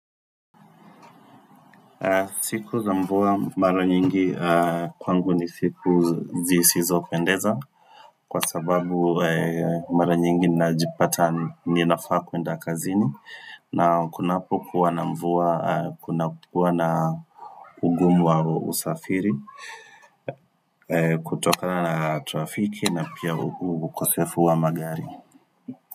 Siku za mvua mara nyingi kwangu ni siku zisizopendeza kwa sababu mara nyingi ninajipata ninafaa kuenda kazini na kunapokuwa na mvua, kunapokuwa na ugumu wa usafiri kutokana na trafiki na pia ukosefu wa magari.